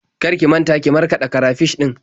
Kar ki manta ki markaɗa karafish ɗin.